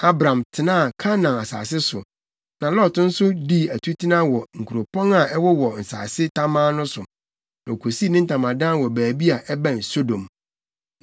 Abram tenaa Kanaan asase so. Na Lot nso dii atutena wɔ nkuropɔn a ɛwowɔ nsase tamaa no so, na okosii ne ntamadan wɔ baabi a ɛbɛn Sodom.